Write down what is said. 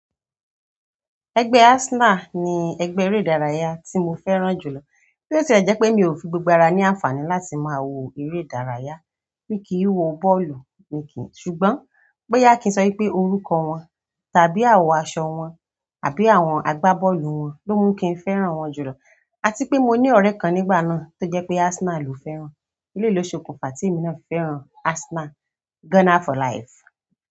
Ẹgbẹ́ Arsenal ni ẹgbẹ́ eré ìdárayá tí mo fẹ́ràn jùlọ. Bi o tí ẹ jẹ́ pé mi ò fi gbogbo ara ní àǹfààní láti máa wo eré ìdárayá, mí kì í wo bọ́ọ̀lù mi kí ṣùgbọ́n, boya ki n sọ wípé orúkọ wọn, tàbí àwọ̀n aṣọ wọn, àbí àwọn agbábọ́ọ̀lù wọn ló mú kí n fẹ́ràn wọ́n jùlọ. A tí pé mo ní ọ̀rẹ́ kan nígbà náà tó jẹ́ pé Arsenal ló fẹ́ràn. Eléyìí lo sokunfa temi náà fi fẹ́ràn Arsenal. Gunner for life.